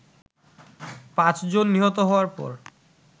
পাঁচজন নিহত হওয়ার পর